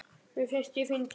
Mér finnst ég fyndin.